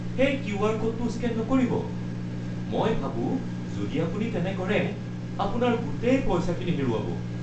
সেই কিউ.আৰ. ক'ডটো স্কেন নকৰিব। মই ভাবোঁ যদি আপুনি তেনে কৰে, আপোনাৰ গোটেই পইচাখিনি হেৰুৱাব।